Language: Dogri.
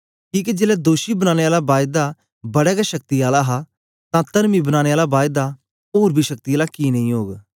किके जेलै दोषी बनाने आला बायदा बड़ा गै शक्ति आला हा तां तरमी बनाने आला बायदा ओर बी शक्ति आला कि नेई ओग